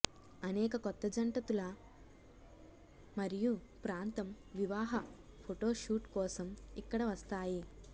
అనేక కొత్త జంట తులా మరియు ప్రాంతం వివాహ ఫోటో షూట్ కోసం ఇక్కడ వస్తాయి